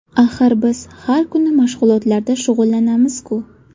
Axir biz har kuni mashg‘ulotlarda shug‘ullanamiz-ku!